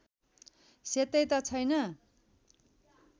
सेतै त छैन